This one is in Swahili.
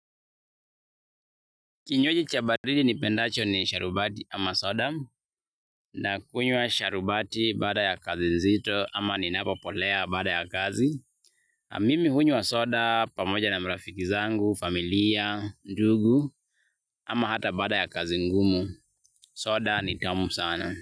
Kinywaji cha baridi nipendacho ni sharubati ama soda nakunywa sharubati baada ya kazi nzito ama ninapopolea baada ya kazi. Mimi hunywa soda pamoja na marafiki zangu, familia, ndugu ama hata baada ya kazi ngumu. Soda ni tamu sana.